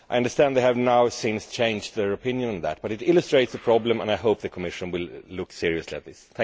I understand that they have now since changed their opinion on that, but it illustrates the problem and I hope the Commission will look seriously at this.